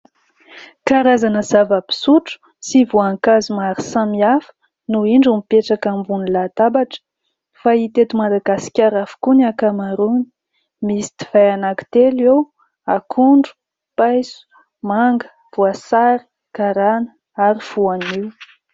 Karazana zava-pisotro sy voankazo maro samihafa noho indro mipetraka ambony latabatra fahita eto Madagasikara avokoa ny ankamaroany. Misy divay anakitelo eo, akondro, paiso, manga, voasary karana ary voanio.